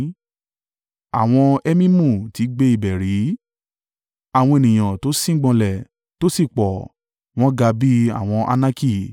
(Àwọn Emimu ti gbé ibẹ̀ rí, àwọn ènìyàn tó síngbọnlẹ̀ tó sì pọ̀, wọ́n ga bí àwọn Anaki.